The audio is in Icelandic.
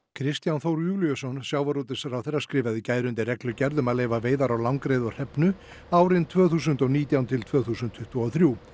Kristján Þór Júlíusson sjávarútvegsráðherra skrifaði í gær undir reglugerð um að leyfa veiðar á langreyði og hrefnu árin tvö þúsund og nítján til tvö þúsund tuttugu og þrjú